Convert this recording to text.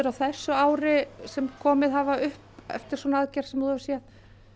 á þessu ári sem komið hafa upp eftir svona aðgerð sem þú hefur séð